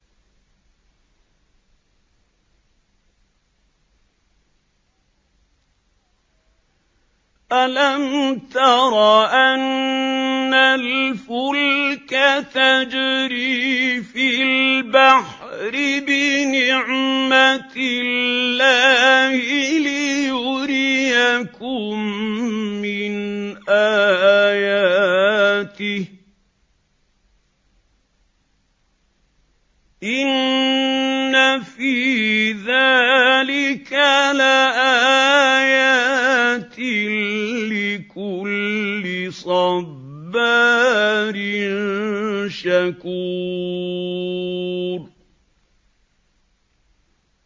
أَلَمْ تَرَ أَنَّ الْفُلْكَ تَجْرِي فِي الْبَحْرِ بِنِعْمَتِ اللَّهِ لِيُرِيَكُم مِّنْ آيَاتِهِ ۚ إِنَّ فِي ذَٰلِكَ لَآيَاتٍ لِّكُلِّ صَبَّارٍ شَكُورٍ